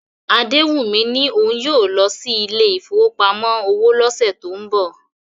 Adewummi ní òun yóò lọ sí ilé ìfowópamọ́ òwò lọ́sẹ̀ tó ń bọ̀